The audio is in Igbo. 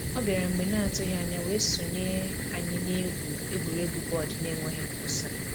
ọ bịara mgbe n'atụghị anya wee sonye anyị na-egwu egwuregwu bọọdụ n'enweghị nkwụsị.